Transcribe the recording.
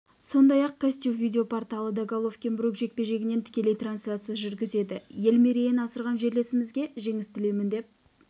сондай-ақ казтюб видеопорталы да головкин-брук жекпе-жегінен тікелей трансляция жүргізеді ел мерейін асырған жерлесімізге жеңіс тілеймін деп